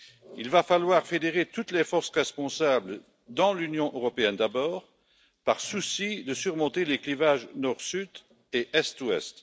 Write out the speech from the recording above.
Il va falloir fédérer toutes les forces responsables dans l'Union européenne, d'abord par souci de surmonter les clivages Nord Sud et Est Ouest.